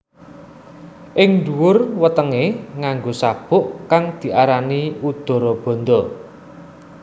Ing ndhuwur wetengé nganggo sabuk kang diarani Udarabandha